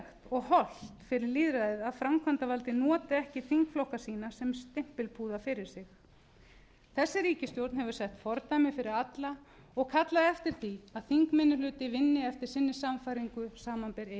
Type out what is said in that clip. og hollt fyrir lýðræðið að framkvæmdarvaldið noti ekki þingflokka sína sem stimpilpúða fyrir sig þessi ríkisstjórn hefur sett fordæmi fyrir alla og kallað eftir því að þingminnihluti vinni eftir sinni sannfæringu samanber e s